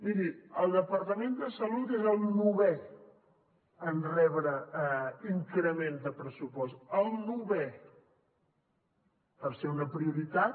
miri el departament de salut és el novè en rebre increment de pressupost el novè per ser una prioritat